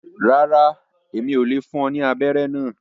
Ràrá, Èmí ò le fún ọ ní abẹrẹ náà